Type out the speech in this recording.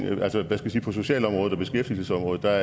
på socialområdet og beskæftigelsesområdet må jeg